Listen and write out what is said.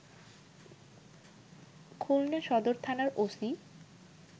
খুলনা সদর থানার ওসি